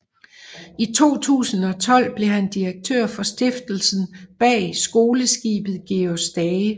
I 2012 blev han direktør for stiftelsen bag skoleskibet Georg Stage